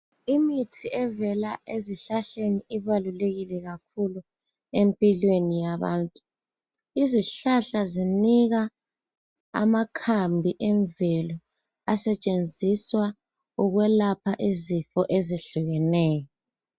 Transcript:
Imithi evela ezihlahleni iqakathekile kakhulu empilweni yabantu izihlahla zinika amakhambi emvelo asetshenziswa ukuyelapha izifo ezehlukeyo